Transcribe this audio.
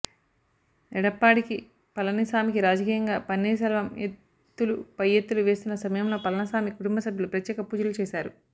ఎడప్పాడికి పళనిసామికి రాజకీయంగా పన్నీర్ సెల్వం ఎత్తులు పైఎత్తులు వేస్తున్న సమయంలో పళనిసామి కుటుంబ సభ్యులు ప్రత్యేక పూజలు చేశారు